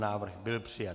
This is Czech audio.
Návrh byl přijat.